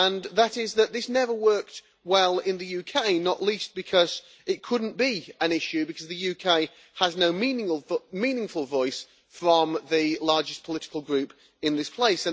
That is that this never worked well in the UK, not least because it could not be an issue because the UK has no meaningful voice from the largest political group in this place.